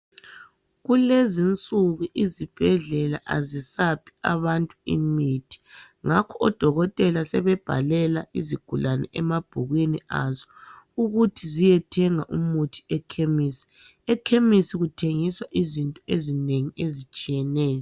Kulezi insuku izibhedlela azisaphi abantu imithi ngakho odokotela sebebhalela izigulane emabhukwini azo ukuthi ziyethenga umuthi ekhemesi. Ekhemesi kuthengiswa izinto ezinengi ezitshiyeneyo.